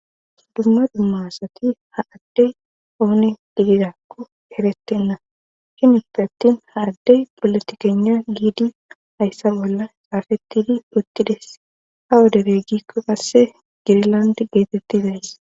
dumma dumma asati ha ade ooni gidirako eretena hinippe attin ha adde polotikegna giidi hayssa bolla xaafettidi uttides awu dere giikko qassi gnglande geetettizayssa.